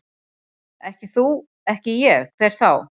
Ekki þú, ekki ég, hver þá?